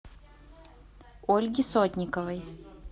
ольги сотниковой